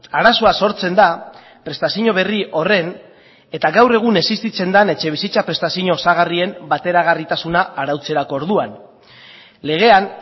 arazoa sortzen da prestazio berri horren eta gaur egun existitzen den etxebizitza prestazio osagarrien bateragarritasuna arautzerako orduan legean